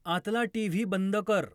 आतला टी.व्ही. बंद कर.